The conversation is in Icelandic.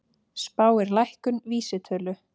Spáir lækkun vísitölu